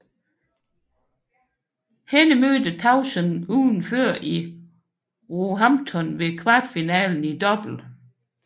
Hende mødte Tauson ugen før i Roehampton ved kvartfinalen i double